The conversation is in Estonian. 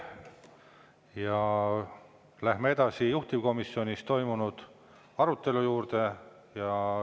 Ja läheme edasi juhtivkomisjonis toimunud arutelu juurde.